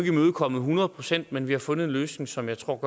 imødekommet hundrede procent men vi har fundet en løsning som jeg tror